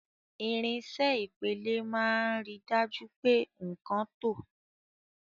Irinṣẹ́ Ìpele máa ń rí i dájú pé nkan tọ́.